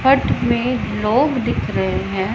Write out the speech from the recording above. हट में लोग दिख रहे हैं।